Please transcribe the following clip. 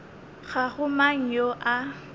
ga go mang yo a